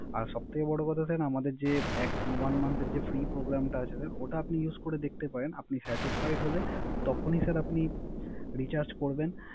আর সবথেকে বড় কথা Sir আমাদের যে One Month এর যে ফ্রি প্রোগ্রাম টা আছে ওটা আপনি Use করে দেখতে পারেন। আপনি Satisfied হলে তখনই আপনি স্যার Recharge করবেন